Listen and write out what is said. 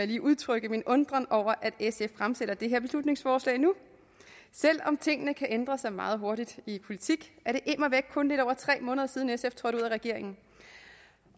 lige udtrykke min undren over at sf fremsætter det her beslutningsforslag nu selv om tingene kan ændre sig meget hurtigt i politik er det immer væk kun lidt over tre måneder siden sf trådte ud af regeringen